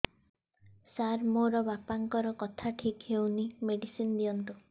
ସାର ମୋର ବାପାଙ୍କର କଥା ଠିକ ହଉନି ମେଡିସିନ ଦିଅନ୍ତୁ